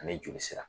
Ani joli sira